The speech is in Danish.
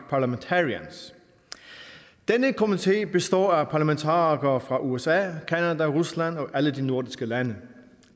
parliamentarians denne komité består af parlamentarikere fra usa canada rusland og alle de nordiske lande